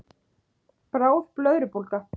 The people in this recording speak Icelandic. Bráð blöðrubólga